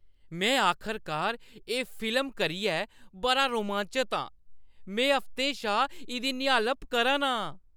में आखरकार एह् फिल्म करियै बड़ा रोमांचत आं! में हफ्तें शा इʼदी निहालप करा ना आं।